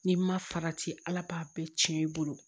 N'i ma farati ala b'a bɛɛ cɛn i bolo